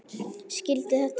Skildi þetta ekki.